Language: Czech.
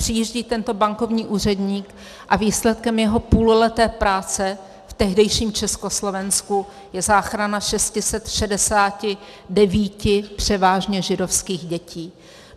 Přijíždí tento bankovní úředník a výsledkem jeho půlleté práce v tehdejším Československu je záchrana 669 převážně židovských dětí.